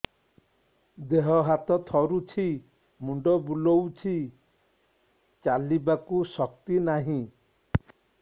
ଦେହ ହାତ ଥରୁଛି ମୁଣ୍ଡ ବୁଲଉଛି ଚାଲିବାକୁ ଶକ୍ତି ନାହିଁ